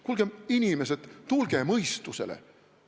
Kuulge, inimesed, tulge mõistusele!